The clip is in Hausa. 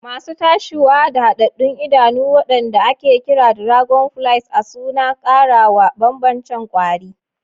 Masu tashiwa da hadaddun idanu, wanda ake kira dragonflies a suna ƙara wa bambancen kwari.